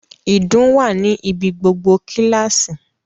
Ìdun wà ní ibi gbogbo kíláàsì